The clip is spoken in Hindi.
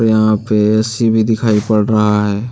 यहां पे ए_सी भी दिखाई पड़ रहा है।